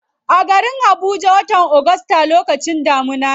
A garin habuja, watan august lokacin damuna ne.